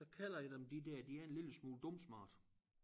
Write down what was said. Så kalder jeg dem de der de er en lille smule dumsmarte